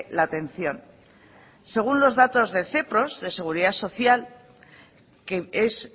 la atención según los datos de cepross de seguridad social que es